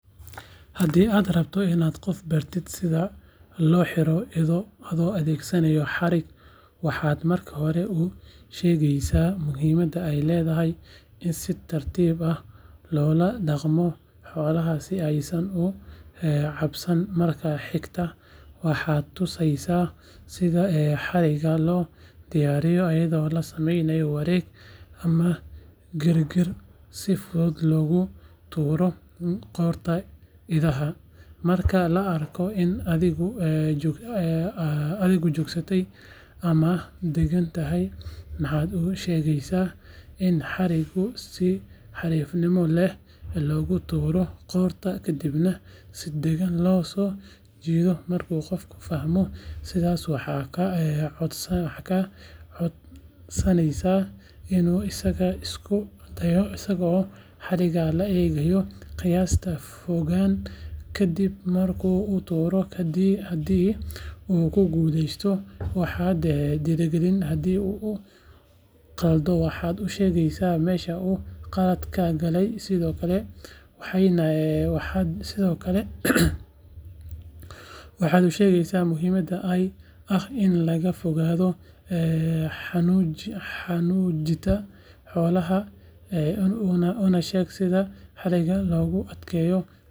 Haddii aad rabto inaad qof bartid sida looxiro ido adoo adeegsanaya xarig waxaad marka hore u sheegaysaa muhiimadda ay leedahay in si tartiib ah loola dhaqmo xoolaha si aysan u cabsan marka xigta waxaad tusaysaa sida xarigga loo diyaariyo iyadoo la sameeyo wareeg ama girgir si fudud loogu tuuro qoorta idaha marka la arko in adhigu joogsaday ama uu deggan yahay waxaad u sheegaysaa in xarigga si xariifnimo leh loogu tuuro qoorta kadibna si degan loo soo jiido markuu qofka fahmo sidaas waxaad ka codsanaysaa inuu isagu isku dayo isagoo xarigga la eegaya qiyaasta fogaan ka dib marka uu tuuro haddii uu ku guulaysto waxaad dhiirrigelinaysaa haddii uu khaldo waxaad u sheegaysaa meesha uu qaladka ka galay sidoo kale waxaad u sheegaysaa muhiimadda ah in laga fogaado xanuujinta xoolaha una sheeg sida xarigga loogu adkeeyo si aanay uga baxsan waxaana la hubiyaa in xooluhu si nabad ah loogu qaban karo.